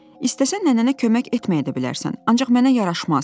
İstəsən nənənə kömək etməyə də bilərsən, ancaq mənə yaraşmaz.